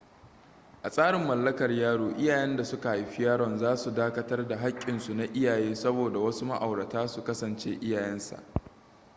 a tsarin mallakar yaro iyayen da suka haifi yaron za su dakatar da haƙƙinsu na iyaye saboda wasu ma'aurata su kasance iyayen sa